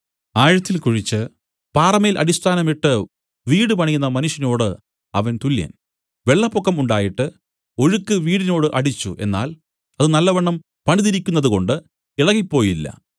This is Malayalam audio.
ആഴത്തിൽക്കുഴിച്ച് പാറമേൽ അടിസ്ഥാനം ഇട്ട് വീട് പണിയുന്ന മനുഷ്യനോടു അവൻ തുല്യൻ വെള്ളപ്പൊക്കം ഉണ്ടായിട്ട് ഒഴുക്ക് വീടിനോട് അടിച്ചു എന്നാൽ അത് നല്ലവണ്ണം പണിതിരിക്കുന്നതുകൊണ്ട് ഇളകിപ്പോയില്ല